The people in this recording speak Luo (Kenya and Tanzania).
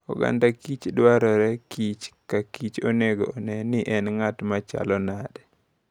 Oganda kich dwarorekich kakich onego one ni en ng'at machal nade.